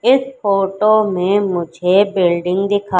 इस फोटो में मुझे बिल्डिंग दिखा--